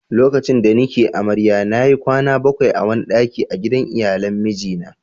lokacin da ni ke amarya na yi kwana bakwai a wani dakin a gidan iyalan miji na